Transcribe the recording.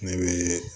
Ne bɛ